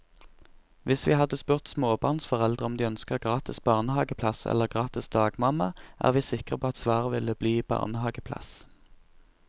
Hvis vi hadde spurt småbarnsforeldre om de ønsker gratis barnehaveplass eller gratis dagmamma, er vi sikre på at svaret ville bli barnehaveplass.